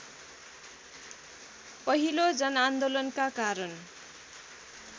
पहिलो जनआन्दोलनका कारण